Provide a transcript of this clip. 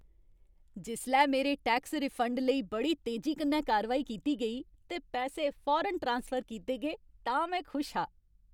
जिसलै मेरे tax refund लेई बड़ी तेजी कन्नै कारवाई कीती गेई ते पैसे फौरन ट्रांसफर कीते गे तां में खुश हा।